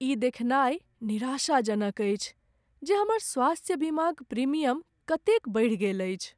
ई देखनाइ निराशाजनक अछि जे हमर स्वास्थ्य बीमाक प्रीमियम कतेक बढ़ि गेल अछि।